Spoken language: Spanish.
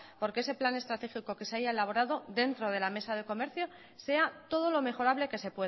porque ese plan estratégico que se haya elaborado dentro de la mesa de comercio sea todo lo mejorable que se